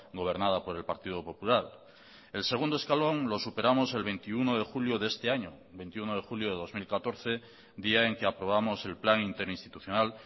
gobernada por el partido popular el segundo escalón lo superamos el veintiuno de julio de este año veintiuno de julio de dos mil catorce día en que aprobamos el plan interinstitucional